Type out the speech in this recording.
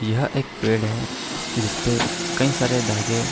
यह एक पेड़ है जिसपे कई सारे धागे --